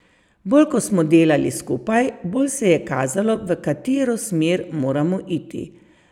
Bolj ko smo delali skupaj, bolj se je kazalo, v katero smer moramo iti.